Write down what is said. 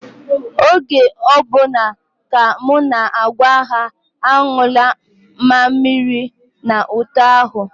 Oge ọ bụla ka m na-agwa ha anyụla mamịrị n'ute ahụ.